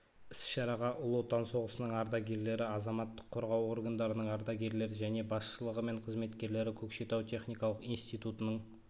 іс-шараға ұлы отан соғысының ардагерлері азаматтық қорғау органдарының ардагерлері және басшылығы мен қызметкерлері көкшетау техникалық институтының